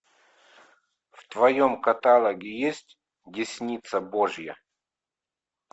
в твоем каталоге есть десница божья